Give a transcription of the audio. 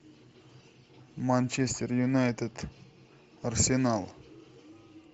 манчестер юнайтед арсенал